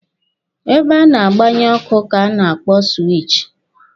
Ebe a na-agbanye ọkụ ka a na-akpọ siwichi.